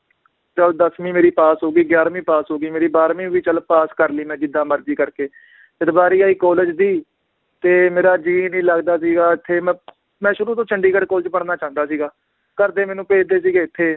ਚਲ ਦੱਸਵੀ ਮੇਰੀ ਪਾਸ ਹੋ ਗਈ, ਗਿਆਰਵੀ ਪਾਸ ਹੋਗੀ ਮੇਰੀ ਬਾਰ੍ਹਵੀਂ ਵੀ ਚਲ ਪਾਸ ਕਰਲੀ ਮੈ ਜਿੱਦਾਂ ਮਰਜੀ ਕਰਕੇ, ਜਦ ਵਾਰੀ ਆਈ college ਦੀ ਤੇ ਮੇਰਾ ਜੀ ਨੀ ਲੱਗਦਾ ਸੀਗਾ ਇਥੇ ਮੈਂ ਮੈ ਸ਼ੁਰੂ ਤੋਂ ਚੰਡੀਗੜ੍ਹ college ਚ ਪੜ੍ਹਨਾ ਚਾਹੁੰਦਾ ਸੀਗਾ, ਘਰਦੇ ਮੈਨੂੰ ਭੇਜਦੇ ਸੀਗੇ ਇਥੇ